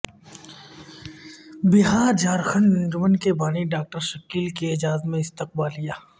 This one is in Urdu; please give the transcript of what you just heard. بہارجھارکھنڈ انجمن کے بانی ڈاکٹر شکیل کے اعزاز میں استقبالیہ